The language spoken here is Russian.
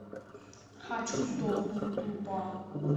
хочу сдохнуть тупо